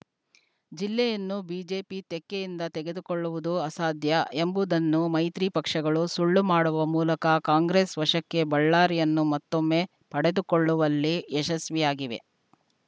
ಜಿಲ್ಲೆಯನ್ನು ಬಿಜೆಪಿ ತೆಕ್ಕೆಯಿಂದ ತೆಗೆದುಕೊಳ್ಳುವುದು ಅಸಾಧ್ಯ ಎಂಬುದನ್ನು ಮೈತ್ರಿ ಪಕ್ಷಗಳು ಸುಳ್ಳು ಮಾಡುವ ಮೂಲಕ ಕಾಂಗ್ರೆಸ್‌ ವಶಕ್ಕೆ ಬಳ್ಳಾರಿಯನ್ನು ಮತ್ತೊಮ್ಮೆ ಪಡೆದುಕೊಳ್ಳುವಲ್ಲಿ ಯಶಸ್ವಿಯಾಗಿವೆ